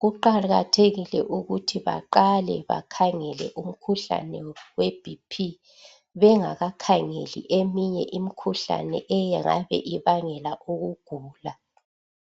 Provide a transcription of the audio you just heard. kuqakathekile ukuthi baqale bakhangele umkhuhlane we BP bengakakhangeli eminye imikhuhlane engabe ibangela ukugula